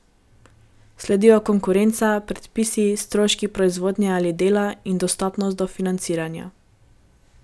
Sledijo konkurenca, predpisi, stroški proizvodnje ali dela in dostopnost do financiranja.